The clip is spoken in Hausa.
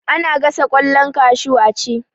Ana gasa ƙwallon kashu a ci